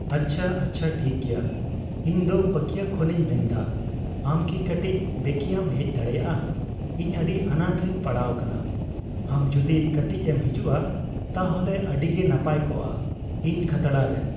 ᱟᱪᱪᱷᱟ ᱟᱪᱪᱷᱟ ᱴᱷᱤᱠ ᱜᱮᱭᱟ ᱤᱧ ᱫᱚ ᱯᱟᱹᱠᱭᱟᱹ ᱠᱷᱚᱱᱤᱧ ᱢᱮᱱᱫᱟ ᱟᱢ ᱠᱤ ᱠᱟᱹᱴᱤᱡ ᱵᱮᱠᱮᱭᱟᱢ ᱦᱮᱡ ᱫᱟᱲᱮᱭᱟᱜᱼᱟ ᱤᱧ ᱟᱹᱰᱤ ᱟᱱᱟᱴ ᱨᱤᱧ ᱯᱟᱲᱟᱣ ᱠᱟᱱᱟ ᱟᱢ ᱡᱩᱫᱤ ᱠᱟᱹᱴᱤᱡ ᱮᱢ ᱦᱤᱡᱩᱜᱼᱟ ᱛᱟᱦᱚᱞᱮ ᱟᱹᱰᱤᱜᱮ ᱱᱟᱯᱟᱭ ᱠᱚᱜᱼᱟ ᱤᱧ ᱠᱷᱟᱛᱲᱟᱨᱮ